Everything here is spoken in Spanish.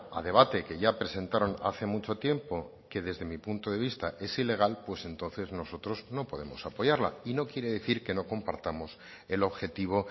a debate que ya presentaron hace mucho tiempo que desde mi punto de vista es ilegal pues entonces nosotros no podemos apoyarla y no quiere decir que no compartamos el objetivo